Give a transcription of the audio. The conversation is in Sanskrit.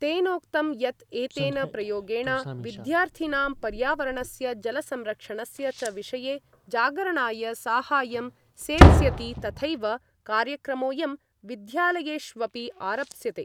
तेनोक्तं यत् एतेन प्रयोगेण विद्यार्थिनां पर्यावरणस्य जलसंरक्षणस्य च विषये जागरणाय साहाय्यं सेत्स्यति तथैव कार्यक्रमोयं विद्यालयेष्वपि आरप्स्यते।